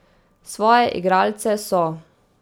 Svoje igralce so ...